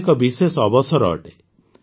ଏହା ଏକ ବିଶେଷ ଅବସର ଅଟେ